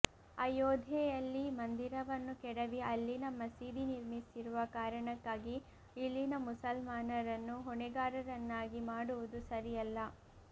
ಆಯೋಧ್ಯೆಯಲ್ಲಿ ಮಂದಿರವನ್ನು ಕೆಡವಿ ಅಲ್ಲಿನ ಮಸೀದಿ ನಿರ್ಮಿಸಿರುವ ಕಾರಣಕ್ಕಾಗಿ ಇಲ್ಲಿನ ಮುಸಲ್ಮಾನರನ್ನು ಹೊಣೆಗಾರರನ್ನಾಗಿ ಮಾಡುವುದು ಸರಿಯಲ್ಲ